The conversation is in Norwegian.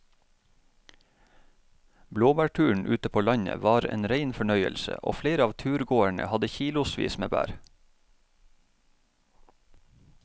Blåbærturen ute på landet var en rein fornøyelse og flere av turgåerene hadde kilosvis med bær.